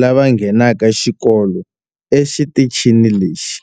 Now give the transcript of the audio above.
lava nghenaka xikolo exitichini lexi.